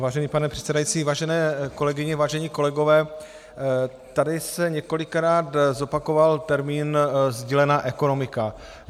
Vážený pane předsedající, vážené kolegyně, vážení kolegové, tady se několikrát zopakoval termín sdílená ekonomika.